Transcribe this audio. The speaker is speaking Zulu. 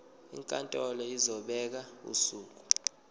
inkantolo izobeka usuku